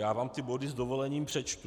Já vám ty body s dovolením přečtu: